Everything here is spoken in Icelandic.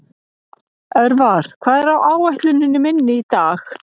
Örvar, hvað er á áætluninni minni í dag?